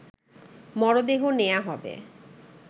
মরদেহ নেয়া হবে